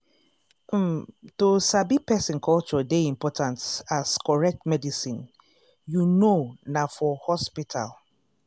um to sabi person culture dey important as correct medicine you know na for hospital.